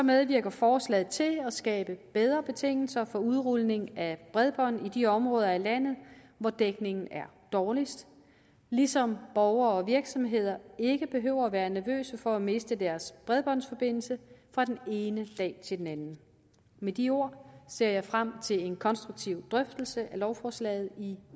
medvirker forslaget til at skabe bedre betingelser for udrulning af bredbånd i de områder af landet hvor dækningen er dårligst ligesom borgere og virksomheder ikke behøver at være nervøse for at miste deres bredbåndsforbindelse fra den ene dag til den anden med de ord ser jeg frem til en konstruktiv drøftelse af lovforslaget i